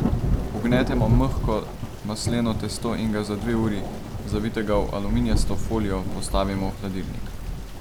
Vgnetemo mehko masleno testo in ga za dve uri, zavitega v aluminijasto folijo, postavimo v hladilnik.